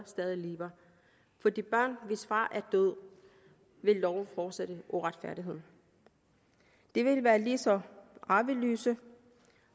stadig lever for de børn hvis far er død vil loven fortsætte uretfærdigheden de vil være lige så arveløse